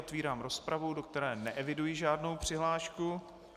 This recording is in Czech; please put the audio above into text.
Otevírám rozpravu, do které neeviduji žádnou přihlášku.